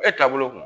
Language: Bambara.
E taabolo